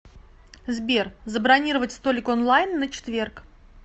сбер забронировать столик онлайн на четверг